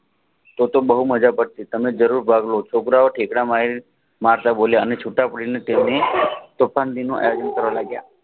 તો તો બહુ માજા કરશુ તમે જરૂર ભાગ લો છોકરાઓ ઠેકડા મારતા બોલ્યા અને છુટા પાડીને તેને પોતાનું એડમીન કરવા લાગ્યા